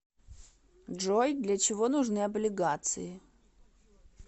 джой для чего нужны облигации